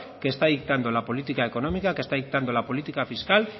que está dictando la política económica que está dictando la política fiscal